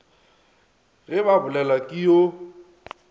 ge ba bolelelwa ke yo